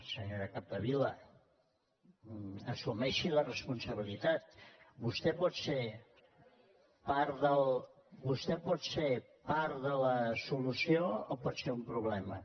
senyora capdevila assumeixi la responsabilitat vostè pot ser part de la solució o pot ser un problema